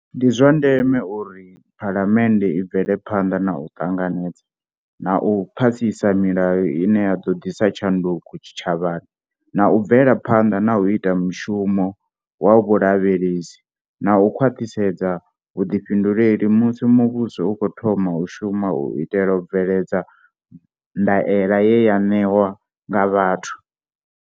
Ndi zwa ndeme uri Phalamennde i bvele phanḓa na u ṱanganedza na u phasisa milayo ine ya ḓo ḓisa tshanduko tshitshavhani na u bvela phanḓa na u ita mushumo wa vhulavhelesi na u khwaṱhisedza vhuḓifhinduleli musi muvhuso u khou thoma u shuma u itela u bveledza ndaela ye wa ṋewa nga vhathu.